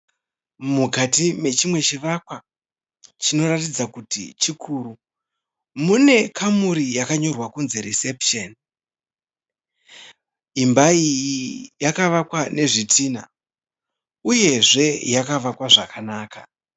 Mukati mechimwe chivakwa chinoratidza kuti chikuru. Mune kamuri yakanyorwa kunzi(reception). Imba iyi yakavakwa nezvitinha uyezve yakavakwa zvakanaka.